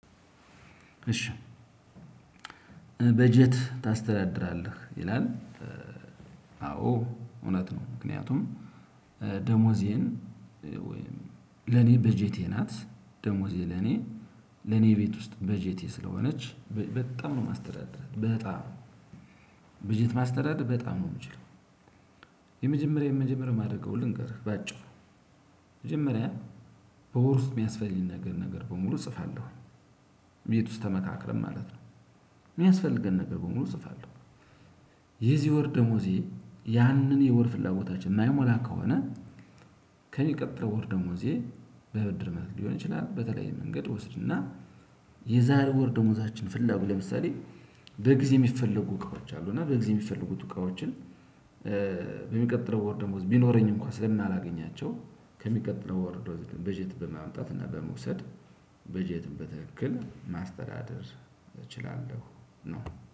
እሽ በጄት ታስተዳድራለህ ይላል አዎ እውነት ነው። ምክንያቱም ደሞዜን ወይም ለኔ በጀቴ ናት ደሞዜ ለኔ ለኔ ቤት ውስጥ በጀቴ ስለሆነች በጣም ነው ማስተዳድራት በጣም በጄት ማስተዳደር በጣም ነው እምችለው። የመጀመሪያ የመጀመሪያ ማድረገዉን ልንገርህ በአጭሩ መጀመሪያ በወር ውስጥ የሚያስፈልግ ነገር ነገር በሙሉ እጽፋለሁ። ቤት ውስጥ ተመካክረን ማለት ነው እሚያስፈልገን ነገር በሙሉ እጽፋለሁ። የዚህ ወር ደሞዜ ያንን የወር ፍላጎታችን ማያሟላ ከሆነ ከሚቀብረው ወር ደግሞ እዚህ በብድር መልኩ ሊሆን ይችላል። በተለይ መንገድ ወስድና የዛሬ ወር ደሞዛችን ፍላጎት ለምሳሌ በጊዜ የሚፈለጉ እቃዎች አሉ እና በጊዜ የሚፈለጉ እቃዎችን አሉና በሚቀጥለው ወር ደሞዝ ቢኖረኝ እንኳን ስለማላገኛቸው ከሚቀጥለው ወር በጀት በማምጣት እና በመውሰድ በጀት በትክክል ማስተዳደር እችላለሁ። ነው